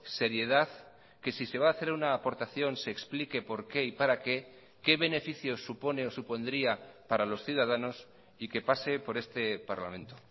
seriedad que si se va a hacer una aportación se explique por qué y para qué qué beneficio supone o supondría para los ciudadanos y que pase por este parlamento